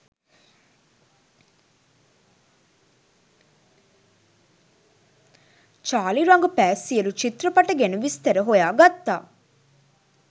Charlie රඟපෑ සියලු චිත්‍රපට ගැන විස්තර සොයා ගත්තා